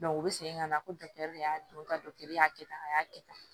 u bɛ segin ka na ko de y'a don ka y'a kɛ tan a y'a kɛ tan